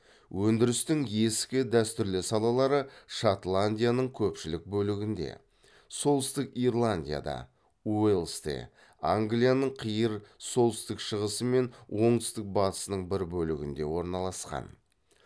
өндірістің ескі дәстүрлі салалары шотландияның көпшілік бөлігінде солтүстік ирландияда уэльсте англияның қиыр солтүстік шығысы мен оңтүстік батысының бір бөлігінде орналасқан